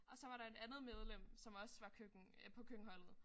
Og så var der et andet medlem som også var køkken øh på køkkenholdet